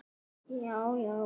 Í upphafi var dans.